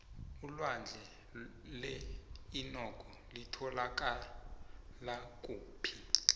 ilwandle leinnoko litholakala kuphi